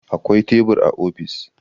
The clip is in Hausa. Akwai tebur a ofis.